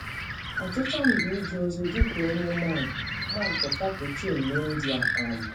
Ọchịchọ m bụ ije ozi dị ka onye mọnk mọnk Kapuchin n’India. um